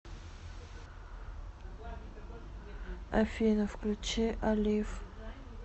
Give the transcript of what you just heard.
афина включи алив